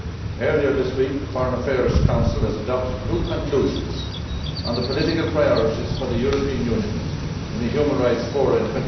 Earlier this week, the Foreign Affairs Council adopted new conclusions on the political priorities for the European Union in the human rights forums in